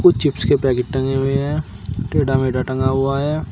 कुछ चिप्स के पैकेट टंगे हुए हैं टेढ़ा मेढा टंगा हुआ है।